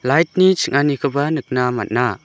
lait ni ching·anikoba nikna man·a.